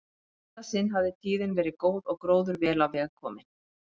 Í þetta sinn hafði tíðin verið góð og gróður vel á veg kominn.